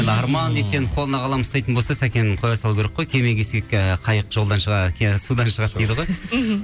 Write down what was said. арман дүйсенов қолына қалам ұстайтын болса сәкен қоя салу керек қой кеме кисек қайық жолдан судан шығады дейді ғой мхм